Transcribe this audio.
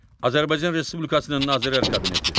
Azərbaycan Respublikasının Nazirlər Kabineti.